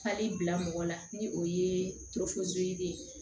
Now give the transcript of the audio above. Fali bila mɔgɔ la ni o ye toforo de ye